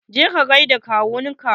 Je ka gaida kawun ka!